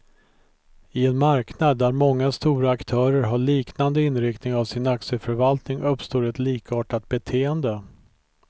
I en marknad där många stora aktörer har liknande inriktning av sin aktieförvaltning, uppstår ett likartat beteende.